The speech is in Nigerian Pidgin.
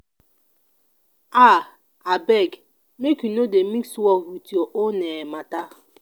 um abeg make you no dey mix work wit your own um mata.